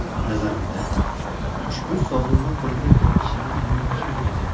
Nazarimda, ushbu sovrinni qo‘lga kiritishimiz mumkin edi.